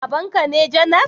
Babanka ne janar